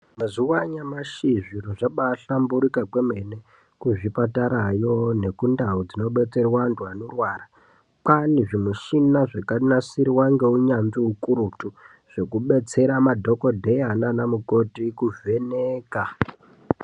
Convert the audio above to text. Mazuva anyamashi, zvinhu zvabaahlamburika kwemene. Kuzvipatarayo nekundau dzinobatsirwa vantu vanorwara, kwaane zvimushina zvakanatsirwa ngeunyanzvi ukurutu zvekubetsera madhokodheya nanamukoti kuvheneka.